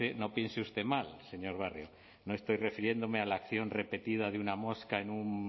no piense usted mal señor barrio no estoy refiriéndome a la acción repetida de una mosca en un